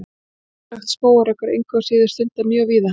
Ólöglegt skógarhögg er engu að síður stundað mjög víða.